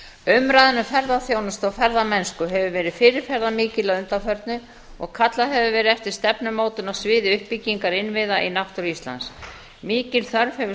umræðan um ferðaþjónustu og ferðamennsku hefur verið fyrirferðarmikil að undanförnu og kallað hefur verið eftir stefnumótun á sviði uppbyggingar innviða í náttúru íslands mikil þörf hefur